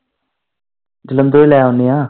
ਜਲੰਧਰੋਂ ਈ ਲੈ ਆਉਂਨੇ ਆ।